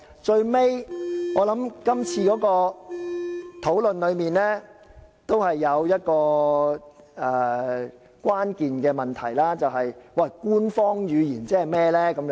最後，今次的討論中有一個關鍵的問題，甚麼是官方語言呢？